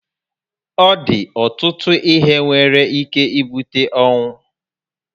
Ọ di ọtụtụ ihe nwere ike ibute ọnwụ